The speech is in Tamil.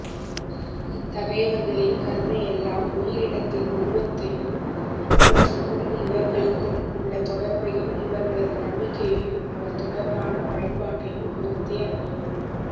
இத்தகையவர்களின் கருணையெல்லாம் உயிரினத்தின் உருவத்தையும் அவற்றுக்கும் இவர்களுக்கும் உள்ள தொடர்பையும் இவர்களது நம்பிக்கையையும் அவை தொடர்பான பயன்பாட்டையும் பொறுத்தே அமையும்